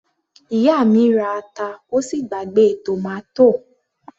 Ìyá mi ra ata ó sì gbàgbé tòmátò